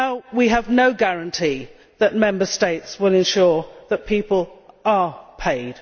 We have no guarantee that Member States will ensure that people are paid.